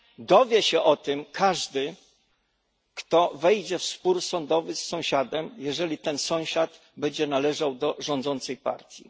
Dowie się o tym każdy, kto wejdzie w spór sądowy z sąsiadem, jeżeli ten sąsiad będzie należał do rządzącej partii.